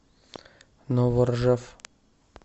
новоржев